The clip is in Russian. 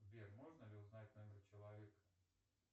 сбер можно ли узнать номер человека